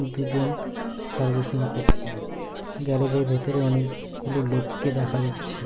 দুজন সার্ভিসিং করছে গ্যারেজ -এর ভিতরে অনেক-গুলো লোককে দেখা যাচ্ছে।